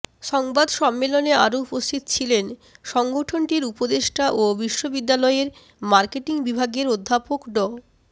সংবাদ সম্মেলনে আরো উপস্থিত ছিলেন সংগঠনটির উপদেষ্টা ও বিশ্ববিদ্যালয়ের মার্কেটিং বিভাগের অধ্যাপক ড